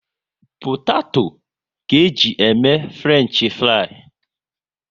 Potato ka eji e mee Frenchifrii